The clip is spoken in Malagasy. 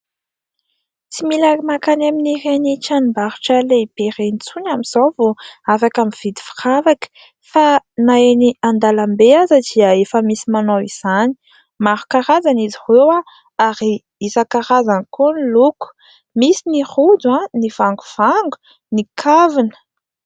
Tsy mila mankany amin'ireny tranombarotra lehibe ireny intsony amin'izao vao afaka mividy firavaka fa na eny andalam-be aza dia efa misy manao izany. Maro karazana izy ireo ary isankarazany koa ny loko : misy ny rojo, ny vangovango, ny kavina.